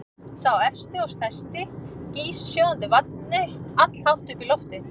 Sá efsti og stærsti gýs sjóðandi vatni allhátt upp í loftið.